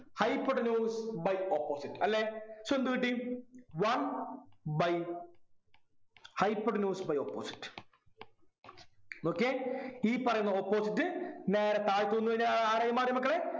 hypotenuse by opposite അല്ലെ so എന്തു കിട്ടി one by hypotenuse by opposite നോക്കിയേ ഈ പറയുന്ന opposite നേരെ താഴോട്ട് വന്നു കഴിഞ്ഞാൽ ആരായി മാറി മക്കളെ